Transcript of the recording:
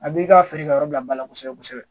A b'i ka feere ka yɔrɔ bila bala kosɛbɛ kosɛbɛ